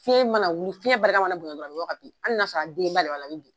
Fiɲɛn mana wuli, fiɲɛn barika mana bonya dɔrɔnw, a bɛ bin, hali n'a sɔrɔ a dennen ba de b'a la.